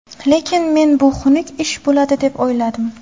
Lekin men bu xunuk ish bo‘ladi deb o‘yladim.